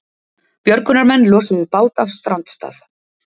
Björgunarmenn losuðu bát af strandstað